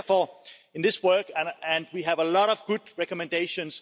Therefore, in this work we have a lot of good recommendations.